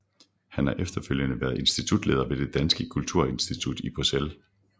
Han har efterfølgende været Institutleder ved Det Danske Kulturinstitut i Bruxelles